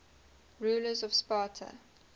rulers of sparta